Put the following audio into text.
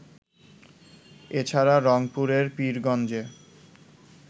এছাড়া, রংপুরের পীরগঞ্জে